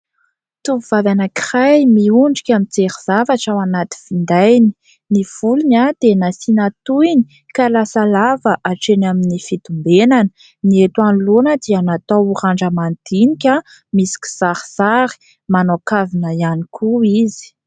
Tovovavy anankiray miondrika mijery zavatra ao anaty findainy. Ny volony dia nasiana tohiny ka lasa lava hatreny amin'ny fitombenany, ny eto anoloana dia natao randra-madinika misy kisarisary, manao kavina ihany koa izy.